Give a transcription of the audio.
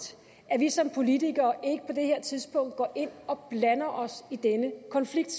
at vi som politikere ikke på det her tidspunkt går ind og blander os i denne konflikt